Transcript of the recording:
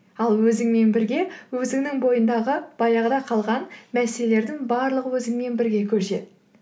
ал өзіңмен бірге өзіңнің бойыңдағы баяғыда қалған мәселелердің барлығы өзіңмен бірге көшеді